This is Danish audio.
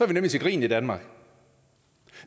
vi nemlig til grin i danmark